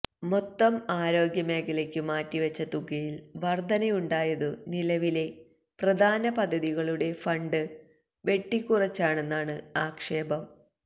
മൊത്തം ആരോഗ്യ മേഖലയ്ക്കു മാറ്റിവച്ച തുകയിൽ വർധനയുണ്ടായതു നിലവിലെ പ്രധാന പദ്ധതികളുടെ ഫണ്ട് വെട്ടിക്കുറച്ചാണെന്നാണ് ആക്ഷേപം